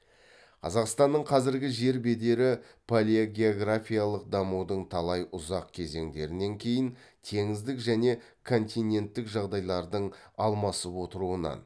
қазақстанның қазіргі жер бедері палеогеографиялық дамудың талай ұзақ кезеңдерінен кейін теңіздік және континенттік жағдайлардың алмасып отыруынан